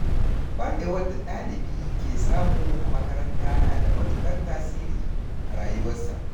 Ƙwarewar da ɗalibi ke samu a makaranta na da matuƙar tasiri a rayuwarsa.